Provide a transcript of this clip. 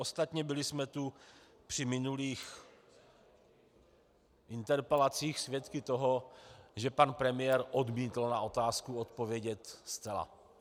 Ostatně, byli jsme tu při minulých interpelacích svědky toho, že pan premiér odmítl na otázku odpovědět zcela.